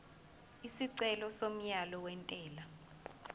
isicelo somyalo wentela